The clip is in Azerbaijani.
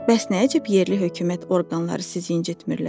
Bəs nə əcəb yerli hökumət orqanları sizi incitmirlər?